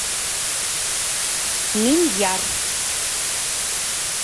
миньяр